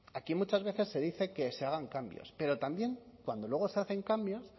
aquí muchas veces se dice que se hagan cambios pero también cuando luego se hacen cambios